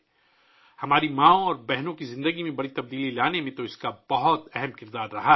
اس نے ہماری ماؤں اور بہنوں کی زندگیوں میں بڑی تبدیلی لانے میں بہت اہم کردار ادا کیا ہے